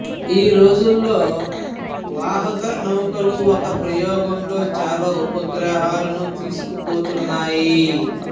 ఈ రోజుల్లో వాహక నౌకలు ఒక్క ప్రయోగంలో చాలా ఉపగ్రహాలను తీసుకుపోతున్నాయి